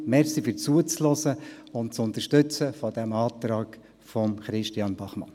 Danke fürs Zuhören und das Unterstützen des Vorstosses von Christian Bachmann.